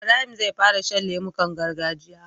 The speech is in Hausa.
Ibrahim zai fara shan lemukan gargajiya